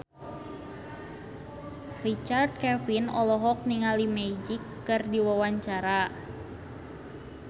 Richard Kevin olohok ningali Magic keur diwawancara